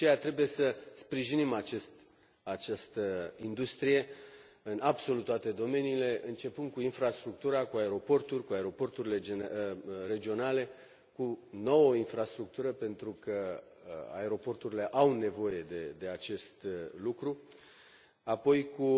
De aceea, trebuie să sprijinim această industrie în absolut toate domeniile, începând cu infrastructura, cu aeroporturile, cu aeroporturile regionale, cu nouă infrastructură, pentru că aeroporturile au nevoie de acest lucru, apoi cu